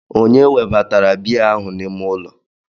Ònye webatara biya ahụ n'ime ụlọ?